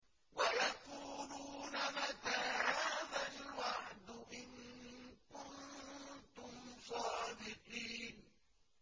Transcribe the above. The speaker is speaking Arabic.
وَيَقُولُونَ مَتَىٰ هَٰذَا الْوَعْدُ إِن كُنتُمْ صَادِقِينَ